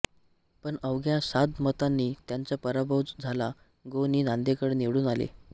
पण अवघ्या सात मतांनी त्यांचा पराभव झाला गो नी दांडेकर निवडून आले